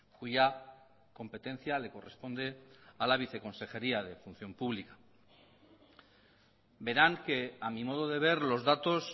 cuya competencia le corresponde a la viceconsejería de función pública verán que a mi modo de ver los datos